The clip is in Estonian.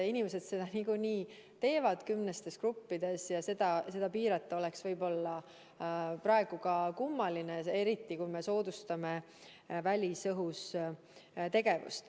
Inimesed seda niikuinii teevad kümnestes gruppides ja seda piirata oleks praegu kummaline, eriti kui me tahame soodustada välisõhus tegevust.